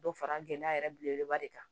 Dɔ fara gɛlɛya yɛrɛ belebeleba de kan